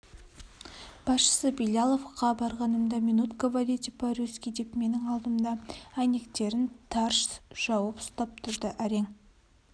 басшысы биляловқа барғанымда минут говорите по-рюзки деп менің алдымда әйнектерін тарс жауып ұстап тұрды әрең